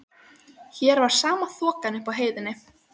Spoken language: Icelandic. Hér var sama þokan og uppi á heiðinni.